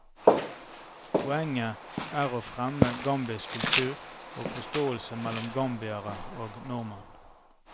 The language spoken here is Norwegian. Poenget er å fremme gambisk kultur og forståelse mellom gambiere og nordmenn.